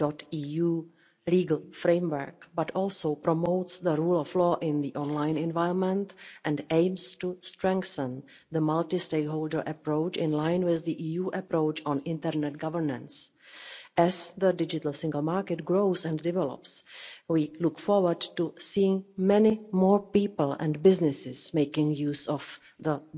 .eu legal framework but also promotes the rule of law in the online environment and aims to strengthen the multi-stakeholder approach in line with the EU approach on internet governance. As the digital single market grows and develops, we look forward to seeing many more people and businesses making use of the